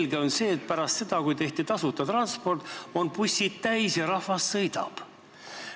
Selge on see, et pärast seda, kui tehti tasuta transport, on bussid täis ja rahvas sõidab.